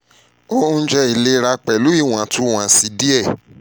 ounjẹ ilera ati iwontunwonsi diẹ